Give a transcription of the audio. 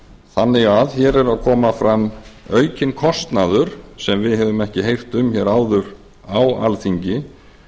þannig að hér er að koma fram aukinn kostnaður sem við höfum ekki heyrt um hér áður á alþingi